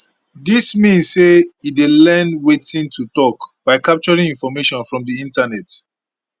dis mean say e dey learn wetin to tok by capturing information from di internet